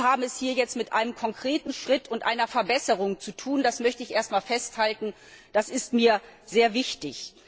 Wir haben es hier jetzt mit einem konkreten Schritt und einer Verbesserung zu tun, das möchte ich erst einmal festhalten, das ist mir sehr wichtig.